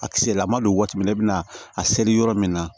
A kisɛ lama don waati min ne bɛna a seri yɔrɔ min na